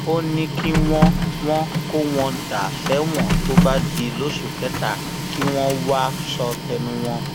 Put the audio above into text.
ó ní kí wọn wọn kó wọn dà sẹwọn tó bá di lóṣù kẹta kí wọn wáá sọ tẹnu wọn